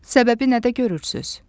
Səbəbi nədə görürsüz?